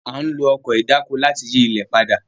A n lo Ọkọ̀ ìdáko láti yi ilẹ pàdà